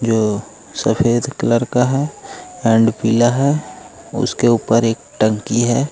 यह सफेद कलर का है एंड पीला है उसके उपर एक टंकी है।